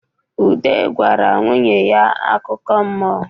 Udo gwara nwunye ya akụkọ mmụọ.